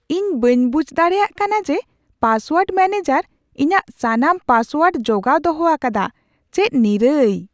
ᱤᱧ ᱵᱟᱹᱧ ᱵᱩᱡᱷ ᱫᱟᱲᱮᱭᱟᱜ ᱠᱟᱱᱟ ᱡᱮ ᱯᱟᱥᱳᱣᱟᱨᱰ ᱢᱮᱹᱱᱮᱡᱟᱨ ᱤᱧᱟᱹᱜ ᱥᱟᱱᱟᱢ ᱯᱟᱥᱳᱣᱟᱨᱰ ᱡᱚᱜᱟᱣ ᱫᱚᱦᱚ ᱟᱠᱟᱫᱟ ᱾ ᱪᱮᱫ ᱱᱤᱨᱟᱹᱭ !